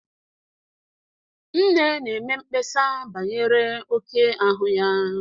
Nne na-eme mkpesa banyere oke ahu ya.